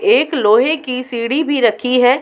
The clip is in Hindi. एक लोहे की सीढ़ी भी रखी है।